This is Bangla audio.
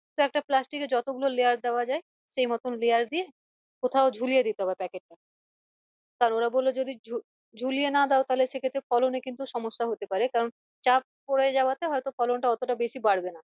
তো একটা plastic যতগুলো layer দেওয়া যাই সেইমত layer দিয়ে কোথাও ঝুলিয়ে দিতে হবে packet টা তারপর বল্লো যদি ঝু~ঝুলিয়ে না দাও তাহলে সেক্ষেত্রে ফলনে কিন্তু সমস্যা হতে পারে কারণ চাপ পরে যাওয়াতে হয়তো ফলন টা অতটা বেশি বাড়বে না